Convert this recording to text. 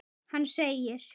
Hann segir